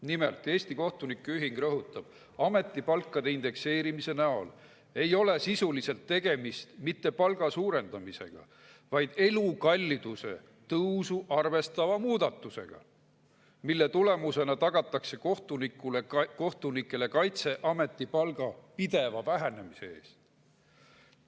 Nimelt, Eesti Kohtunike Ühing rõhutab: "Ametipalkade indekseerimise näol ei ole sisuliselt tegemist mitte palga suurendamisega, vaid elukalliduse tõusu arvestava muudatusega, mille tulemusena tagatakse kohtunikele kaitse ametipalga pideva vähenemise eest.